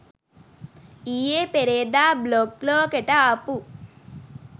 ඊයේ පෙරේදා බ්ලොග් ලෝකෙට ආපු